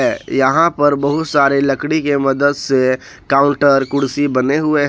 यहां पर बहुत सारे लकड़ी के मदद से काउंटर कुर्सी बने हुए हैं।